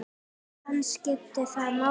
En skiptir það máli?